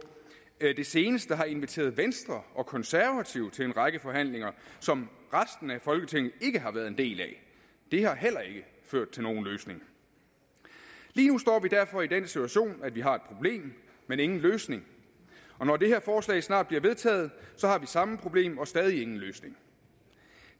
det seneste har inviteret venstre og konservative til en række forhandlinger som resten af folketinget ikke har været en del af det har heller ikke ført til nogen løsning lige nu står vi derfor i den situation at vi har et problem men ingen løsning og når det her forslag snart bliver vedtaget har vi samme problem og stadig ingen løsning